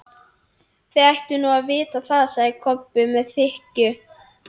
Þið ættuð nú að vita það, sagði Kobbi með þykkju.